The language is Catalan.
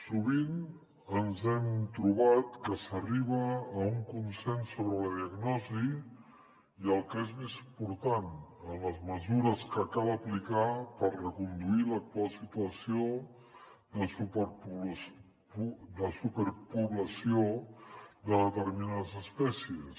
sovint ens hem trobat que s’arriba a un consens sobre la diagnosi i el que és més important en les mesures que cal apli·car per reconduir l’actual situació de superpoblació de determinades espècies